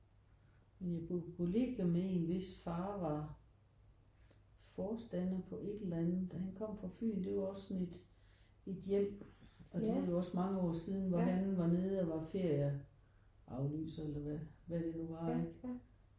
Men jeg boede på kollegie med en hvis far var forstander på et eller andet og han kom fra Fyn. Det var også sådan et et hjem og det er jo også mange år siden hvor han var nede og var ferieafløser eller hvad det nu var ikke